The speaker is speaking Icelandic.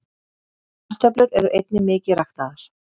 kartöflur eru einnig mikið ræktaðar